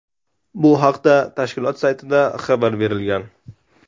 Bu haqda tashkilot saytida ma’lumot berilgan .